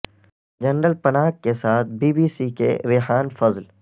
general Panag کے ساتھ B B C کے ریحان فضل